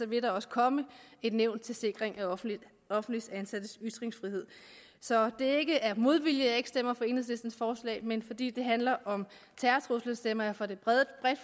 vil der også komme et nævn til sikring af offentligt offentligt ansattes ytringsfrihed så det er ikke af modvilje jeg ikke stemmer for enhedslistens forslag men fordi det handler om terrortrusler stemmer jeg for det bredt